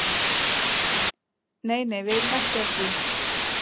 Nei nei, við erum ekki að því.